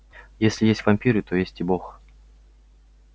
если есть вампиры то есть и бог